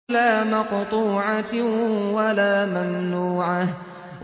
لَّا مَقْطُوعَةٍ وَلَا مَمْنُوعَةٍ